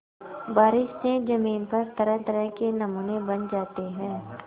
बारिश से ज़मीन पर तरहतरह के नमूने बन जाते हैं